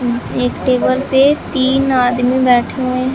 एक टेबल पे तीन आदमी बैठे हुए हैं।